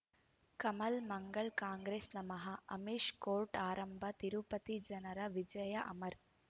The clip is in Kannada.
ಕಮಲ್ ಮಂಗಳ್ ಕಾಂಗ್ರೆಸ್ ನಮಃ ಅಮಿಷ್ ಕೋರ್ಟ್ ಆರಂಭ ತಿರುಪತಿ ಜನರ ವಿಜಯ ಅಮರ್